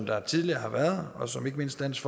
været tidligere og som ikke mindst dansk